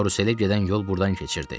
Karuselə gedən yol burdan keçirdi.